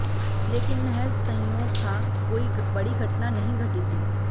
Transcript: लेकिन महज संयोग था कोई बड़ी घटना नहीं घटी थी